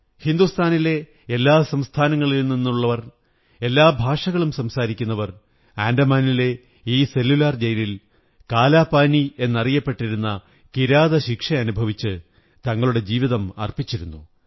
ഹിന്ദുസ്ഥാനിലെ എല്ലാ സംസ്ഥാനങ്ങളിലും നിന്നുള്ളവർ എല്ലാ ഭാഷകളും സംസാരിക്കുന്നവർ ആന്ഡെമാനിലെ ഈ സെല്ലുലാർ ജയിലിൽ കാലാപാനി യെന്ന കിരാതശിക്ഷ അനുഭവിച്ച് തങ്ങളുടെ ജീവിതം അര്പ്പിംച്ചിരുന്നു